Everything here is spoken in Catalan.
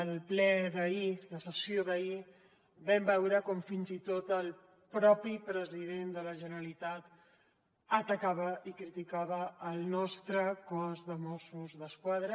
al ple d’ahir a la sessió d’ahir vam veure com fins i tot el mateix president de la generalitat atacava i criticava el nostre cos de mossos d’esquadra